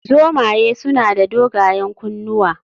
Zomaye suna da dogayen kunnuwa